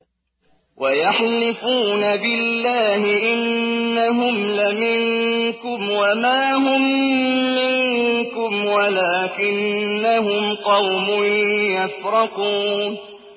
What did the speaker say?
وَيَحْلِفُونَ بِاللَّهِ إِنَّهُمْ لَمِنكُمْ وَمَا هُم مِّنكُمْ وَلَٰكِنَّهُمْ قَوْمٌ يَفْرَقُونَ